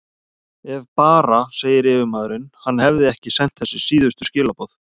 Ef bara segir yfirmaðurinn, hann hefði ekki sent þessi síðustu skilaboð.